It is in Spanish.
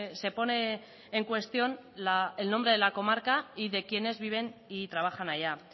se pone en cuestión el nombre de la comarca y de quienes viven y trabajan allá